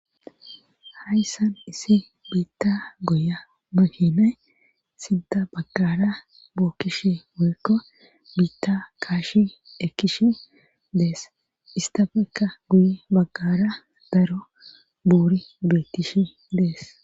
hayssan isi biitta goya mahinay sinta baggara bookkish woykko biitta kaashi ekkishi dees istafekka guye baggara daro buuri beettishi dees